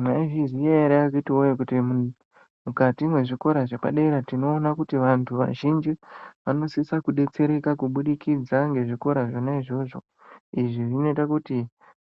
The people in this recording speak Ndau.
Mwaizviziya ere akhiti woye kuti mukati mwezvikora zvepadera tinoona kuti vanthu vazhinji vanosisa kudetsereka kuburikidza ngezvikora zvona izvozvo izvi zvinoita kuti